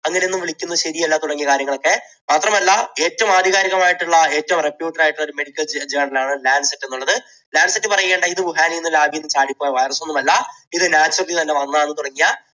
അങ്ങനെയൊന്നും വിളിക്കുന്നത് ശരിയല്ല തുടങ്ങിയ കാര്യങ്ങളൊക്കെ. മാത്രമല്ല ഏറ്റവും ആധികാരികമായിട്ടുള്ള ഏറ്റവും ആയിട്ടുള്ള ഒരു medical journal ആണ് ലാൻസെറ്റ് എന്നുള്ളത്. ലാൻസെറ്റ് പറയുകയാണ് ഇത് വുഹാനിൽ നിന്ന് lab ൽ നിന്ന് ചാടി പോയ virus ഒന്നുമല്ല ഇത് naturally തന്നെ വന്നതാണ് തുടങ്ങിയ